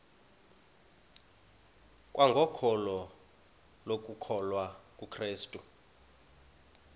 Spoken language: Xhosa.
kwangokholo lokukholwa kukrestu